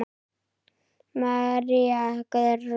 María Guðrún.